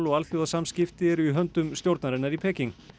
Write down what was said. og alþjóðasamskipti eru í höndum stjórnarinnar í Peking